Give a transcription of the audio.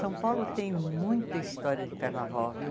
São Paulo tem muita história de carnaval, viu?